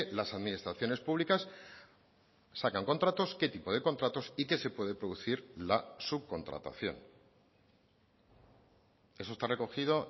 las administraciones públicas sacan contratos qué tipo de contratos y que se puede producir la subcontratación eso está recogido